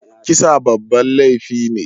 Kisa babban laifi ne.